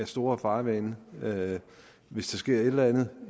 store farvande hvis der sker et eller andet